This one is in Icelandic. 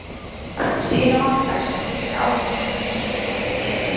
Síðla mánudags var þýska áhöfnin öll komin um borð í Eriku